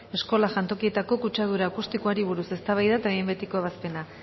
eskola jantokietako kutsadura akustikoari buruz eztabaida eta behin betiko ebazpena